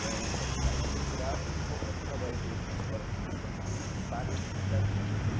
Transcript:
Ganhei a faculdade integral e como eu ficava dentro de escola no fim de semana, parei de cuidar dos time.